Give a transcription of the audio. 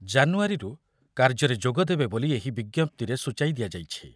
ଜାନୁୟାରୀରୁ କାର୍ଯ୍ୟରେ ଯୋଗଦେବେ ବୋଲି ଏହି ବିଜ୍ଞପ୍ତିରେ ସୂଚାଇ ଦିଆଯାଇଛି।